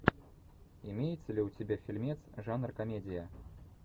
имеется ли у тебя фильмец жанр комедия